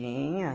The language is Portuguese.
tinha.